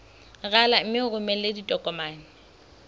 rala mme o romele ditokomene